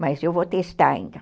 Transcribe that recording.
Mas eu vou testar ainda.